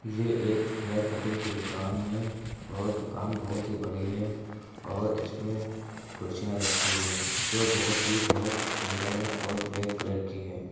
ये एक hair cutting की दुकान है और दुकान बहुत ही बड़ी है और इसमे कुर्सियाँ रखी हुई हैं जो बहुत ही बहुत सुंदर है और ब्लैक कलर की है।